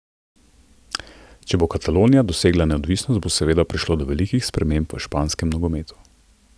Če bo Katalonija dosegla neodvisnost, bo seveda prišlo do velikih sprememb v španskem nogometu.